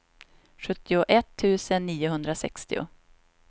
sjuttioett tusen niohundrasextio